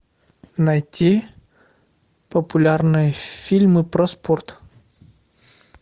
найти популярные фильмы про спорт